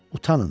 Utanın.